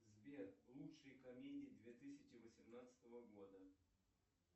сбер лучшие комедии две тысячи восемнадцатого года